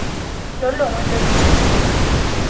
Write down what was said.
lo longwe lo lo tshotsweng